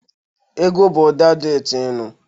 Egwu bụ ụda dị ụtọ ị nụ.